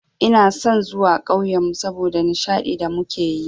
Ina son zuwa ƙauyenmu saboda nishadi da suke yi.